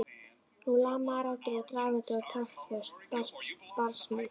Nú lamaðar raddir og drafandi og taktföst barsmíð.